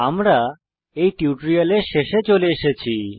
আমরা এই টিউটোরিয়ালের শেষে চলে এসেছি